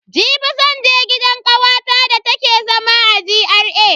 Jibi zan je gidan kawata da take zama a GRA.